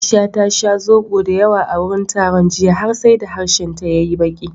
Aisha ta sha zobo dayawa a wurin taron jiya har sai da harshenta ya yi baƙi.